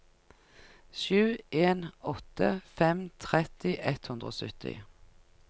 sju en åtte fem tretti ett hundre og sytti